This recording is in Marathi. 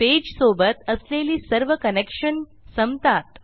पेजसोबत असलेली सर्व कनेक्शन संपतात